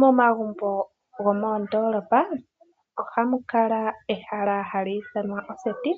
Momagumbo gomoondoolopa ohamu kala ehala hali ithanwa oseti